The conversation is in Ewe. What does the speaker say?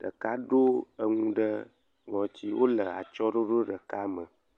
ɖeka ɖoe enu ɖe ŋɔti, wole atsyɔ̃e ɖoɖo ɖeka me.